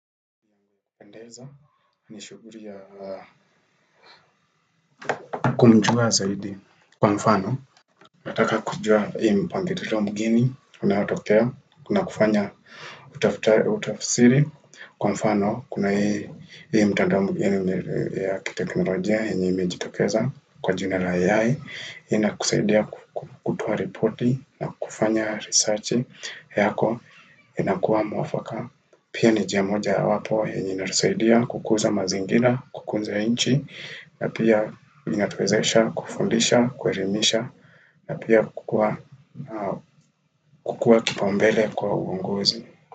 Pendeza, ni shughuri ya kumjua zaidi kwa mfano. Nataka kujua hii mpangilio mgeni unaotokea na kufanya utaftari utafsiri Kwa mfano, kuna hii mtandao mgeni ya kiteknolojia, yenye imejitokeza kwa jina la AI, inakusaidia kutoa ripoti, na kufanya researchi, yako inakuwa mwafaka. Pia ni njia moja wapo, yenye inatusaidia, kukuza mazingira, kukunza inchi na pia inatuwezesha kufundisha kuelimisha na pia kukua kipaumbele kwa uongozi.